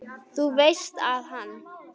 Þú veist að hann.